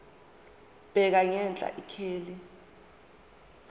bheka ngenhla ikheli